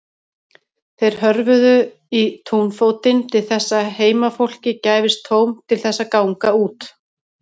Þeir hörfuðu í túnfótinn til þess að heimafólki gæfist tóm til þess að ganga út.